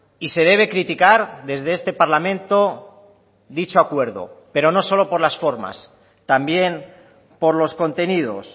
y se debe criticar desde este parlamento dicho acuerdo pero no solo por las formas también por los contenidos